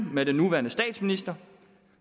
med den nuværende statsminister